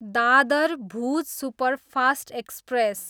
Dadar, Bhuj superfast express